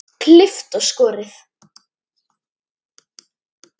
Klippt og skorið.